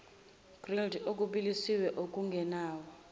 grilled okubilisiwe okungenawo